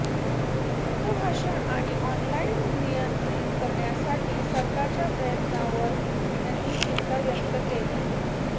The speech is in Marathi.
मुक्त भाषण आणि ऑनलाइन नियंत्रित करण्यासाठी सरकारच्या प्रयत्नांवर त्यांनी चिंता व्यक्त केली